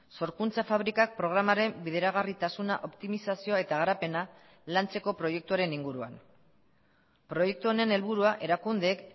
sorkuntza fabrikak programaren bideragarritasuna optimizazioa eta garapena lantzeko proiektuaren inguruan proiektu honen helburua erakundeek